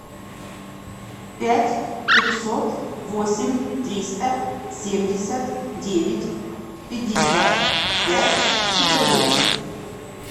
пять пятьсот восемь триста семьдесят девять пятьдесят пять четырнадцать